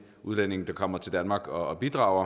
udlændinge som kommer til danmark og bidrager